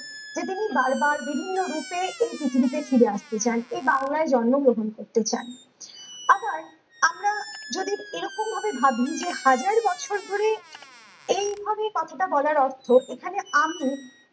যে তিনি বার বার বিভিন্ন রূপে এই পৃথিবীতে ফিরে আসতে চায় এ বাংলায় জন্ম গ্রহণ করতে চান আবার আমরা যদি এরকম ভাবে ভাবি যে হাজার বছর ধরে এই ভাবে কথাটা বলার অর্থ এখানে আমি